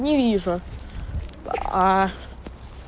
не вижу аа